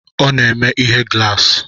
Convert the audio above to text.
Ọ na-eme ihe glaasi